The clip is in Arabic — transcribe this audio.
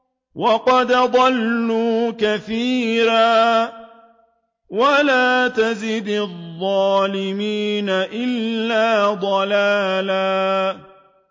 وَقَدْ أَضَلُّوا كَثِيرًا ۖ وَلَا تَزِدِ الظَّالِمِينَ إِلَّا ضَلَالًا